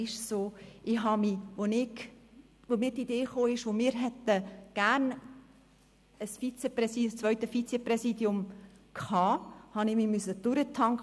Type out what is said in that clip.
Als bei uns die Idee aufkam, dass wir gerne ein zweites Vizepräsidium hätten, musste ich mich überall durchfragen.